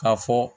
K'a fɔ